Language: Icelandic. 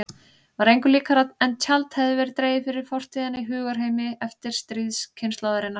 Var engu líkara en tjald hefði verið dregið fyrir fortíðina í hugarheimi eftirstríðskynslóðarinnar.